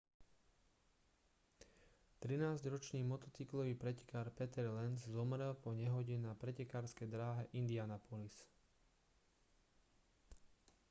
trinásťročný motocyklový pretekár peter lenz zomrel po nehode na pretekárskej dráhe indianapolis